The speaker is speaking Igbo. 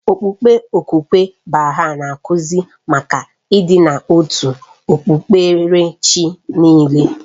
Okpukpe okwukwe Baha'i na-akụzi maka ịdị n'otu nke okpukpere chi niile